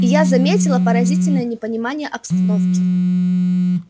и я заметила поразительное непонимание обстановки